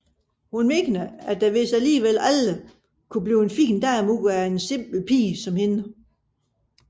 Hun mener at der vist alligevel aldrig kan blive en fin dame ud af en simpel pige som hende